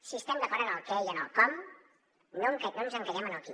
si estem d’acord en el què i en el com no ens encallem en el qui